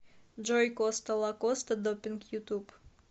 джой коста лакоста допинг ютуб